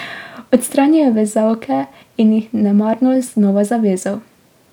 Odstranil je vezalke in jih nemarno znova zavezal.